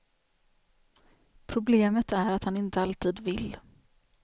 Problemet är att han inte alltid vill.